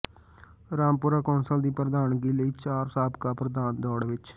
Rampura council ਦੀ ਪ੍ਰਧਾਨਗੀ ਲਈ ਚਾਰ ਸਾਬਕਾ ਪ੍ਰਧਾਨ ਦੌੜ ਵਿਚ